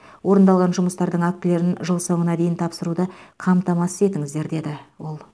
орындалған жұмыстардың актілерін жыл соңына дейін тапсыруды қамтамасыз етіңіздер деді ол